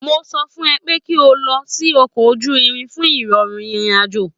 Mo sọ fún ẹ pé kí o lo ọkọ̀ ojú-irin fún ìrọ̀rùn ìrìn àjò